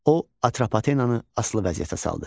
O, Atropatenanı asılı vəziyyətə saldı.